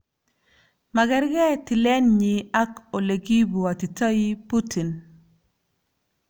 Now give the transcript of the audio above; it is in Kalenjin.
Magergei tiletnyi ak olekibwatitoi Putin .